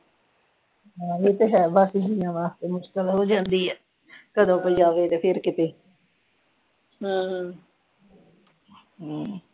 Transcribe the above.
ਹਾਂ ਇਹ ਤਾਂ ਹੈ ਵਾਂ ਦਸ ਮਹੀਨਿਆਂ ਵਾਸਤੇ ਮੁਸ਼ਕਿਲ ਤਾ ਹੋ ਹੀ ਜਾਂਦੀ ਏ ਕਦੋ ਕੋਈ ਜਾਵੇ ਤੇ ਫਿਰ ਕਿਤੇ ਹਮ